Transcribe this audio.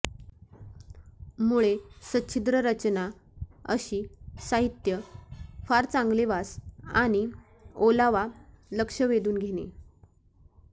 मुळे सच्छिद्र रचना अशी साहित्य फार चांगले वास आणि ओलावा लक्ष वेधून घेणे